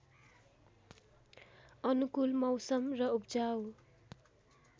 अनुकूल मौसम र उब्जाउ